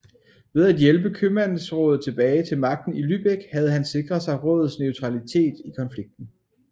Ved at hjælpe købmandsrådet tilbage til magten i Lübeck havde han sikret sig rådets neutralitet i konflikten